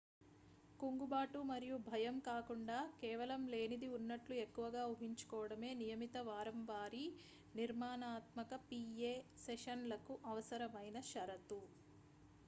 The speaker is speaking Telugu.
కుంగుబాటు మరియు భయం కాకుండా కేవలం లేనిది ఉన్నట్లు ఎక్కువగా ఊహించుకోవడమే నియమిత వారంవారీ నిర్మాణాత్మక pa సెషన్లకు అవసరమైన షరతు